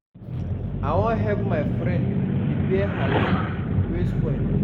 I wan help my friend repair her zip wey spoil.